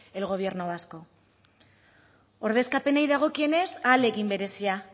el gobierno vasco ordezkapenei dagokienez ahalegin berezia